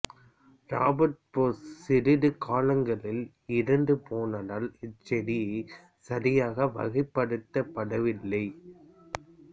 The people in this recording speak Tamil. ராபர்ட் ப்ரூஸ் சிறிது காலங்களில் இறந்து போனதால் இச்செடி சரியாக வகைப்படுத்தப்படவில்லை